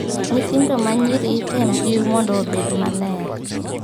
Nyithindo ma nyiri item jiw mondo obed maler.